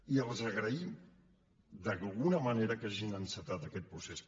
i els agraïm d’alguna manera que hagin encetat aquest procés